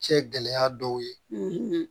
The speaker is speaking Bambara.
Cɛ gɛlɛya dɔw ye